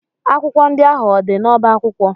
Akwụkwọ ndị ahụ o dị n'ọba akwụkwọ?